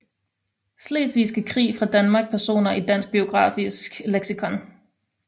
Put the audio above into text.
Slesvigske Krig fra Danmark Personer i Dansk Biografisk Leksikon